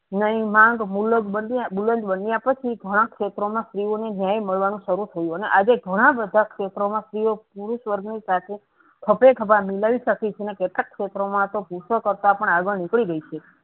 નઈ માંગ મુલન્ગ બુલન્દ બન્યા પછી ઘણા ક્ષેત્રોમાં સ્ત્રીઓને ન્યાય મળવાનું શરૂ થયું અને આજે ઘણા બધા ક્ષેત્રોમાં સ્ત્રીઓપુરુષ વર્ગ ની સાથે ખભે ખભા મિલાવી શકી છે અને કેટલાક ક્ષેત્રોમાંતો પુરુસો કરતા પણ આગળ નીકળી ગઈ છે.